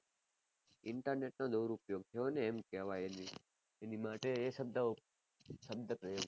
ચિંતા ને તો દુરુપયોગ જો ને એમ કહેવાજ ની એની માટે એ શબ્દ કહોયો